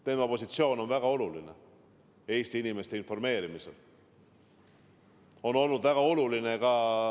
Tema positsioon Eesti inimeste informeerimisel on väga oluline.